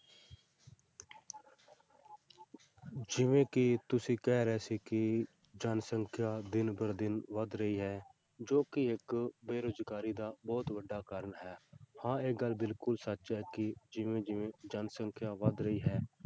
ਜਿਵੇਂ ਕਿ ਤੁਸੀਂ ਕਹਿ ਰਹੇ ਸੀ ਕਿ ਜਨਸੰਖਿਆ ਦਿਨ ਬਰ ਦਿਨ ਵੱਧ ਰਹੀ ਹੈ ਜੋ ਕਿ ਇੱਕ ਬੇਰੁਜ਼ਗਾਰੀ ਦਾ ਬਹੁਤ ਵੱਡਾ ਕਾਰਨ ਹੈ ਹਾਂ ਇਹ ਗੱਲ ਬਿਲਕੁਲ ਸੱਚ ਹੈ ਕਿ ਜਿਵੇਂ ਜਿਵੇਂ ਜਨਸੰਖਿਆ ਵੱਧ ਰਹੀ ਹੈ,